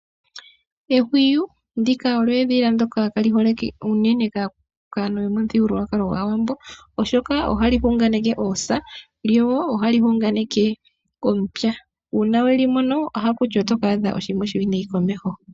Ehwiyu ndika olyo edhila ndoka kaali holike unene kaantu yomomuthigululwkalo gwAawambo , oshoka ohali hunganeke oosa , lyo ohali hunganeke omupya. Uuna weli mono ohaku tiwa oto ka adha oshiima oshiwinayi komeho .